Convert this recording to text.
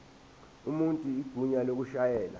umuntu igunya lokushayela